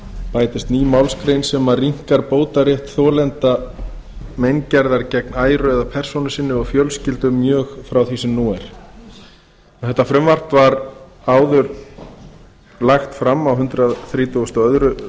bætist ný málsgrein sem rýmkar bótarétt þolenda meingerðar gegn æru eða persónu sinni og fjölskyldu mjög frá því sem nú er þetta frumvarp var áður lagt fram á hundrað þrítugasta og öðrum